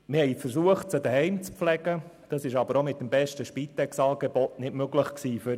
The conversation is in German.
Wir versuchten, sie zu Hause zu pflegen, was für uns aber auch mit dem besten Spitex-Angebot nicht möglich war.